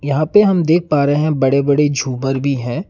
यहां पे हम देख पा रहे हैं बड़े बड़े झूमर भी हैं।